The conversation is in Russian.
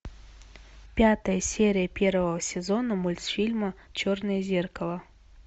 пятая серия первого сезона мультфильма черное зеркало